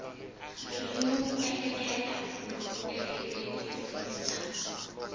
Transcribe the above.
ririmi ku ehleketa no ehleketisisa